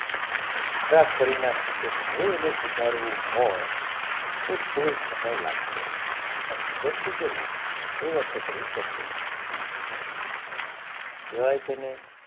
ખરાબ કરી નાખી છે હવે એને સુધારવું હોય તો થોડો સમય લાગશે પણ સુધરશે જરૂર શરૂઆત તો કરવી પડશે કેવાય છેને